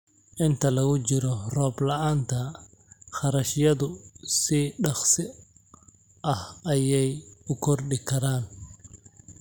Inta lagu jiro roob la'aanta, kharashyadu si dhakhso ah ayey u kordhi karaan.